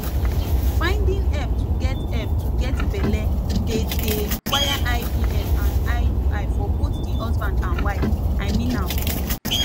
finding help to get help to get belle dey dey require ivf and iui for both the husband and the wife i mean am